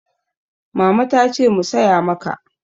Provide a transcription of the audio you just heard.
Mama ta ce mu saya maka.